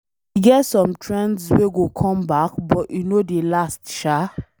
E get some trends wey go come back but e no dey last sha.